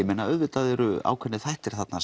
auðvitað eru ákveðnir þættir þarna